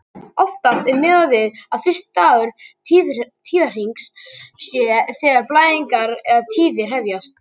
Oftast er miðað við að fyrsti dagur tíðahrings sé þegar blæðingar eða tíðir hefjast.